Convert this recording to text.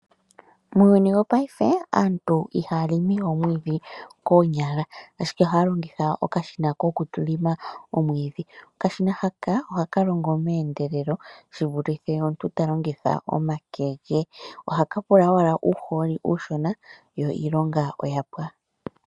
Muuyuni wopaife aantu ihaya limi we omwiidhi koonyala, ashike ohaya longitha okashina ko ku lima omwiidhi. Okashina haka ohaka longo meendelelo, shi vulithe omuntu ta longitha omake ge. Ohaka pula owala uuhooli uushona yo iilonga oyapwa.